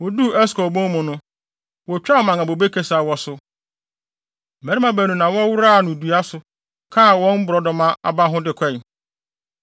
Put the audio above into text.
Woduu Eskol bon mu no, wotwaa mman a bobe kasiaw wɔ so. Mmarima baanu na wɔworaa no dua soa kaa borɔdɔma aba ho de kɔe.